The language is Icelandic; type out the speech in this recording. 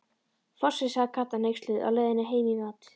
Fossi, sagði Kata hneyksluð á leiðinni heim í mat.